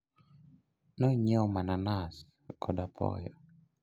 nonyieo mananas kod apoyo